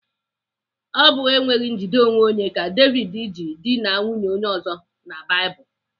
Ọ bụ enweghị njide onwe ka David ji dịna nwunye onye ọzọ na Baịbụl.